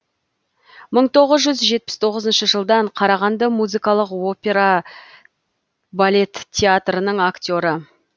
мың тоғыз жүз жетпіс тоғызыншы жылдан қарағанды музыкалық опера балет театрының актері